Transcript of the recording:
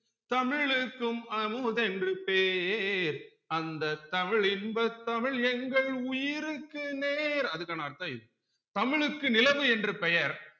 தமிழுக்கும் அமுது என்று பேர் அந்த தமிழ் இன்பத் தமிழ் எங்கள் உயிருக்கு நேர் அதுக்கான அர்த்தம் இது தமிழ்க்கு நிலவு என்று பெயர்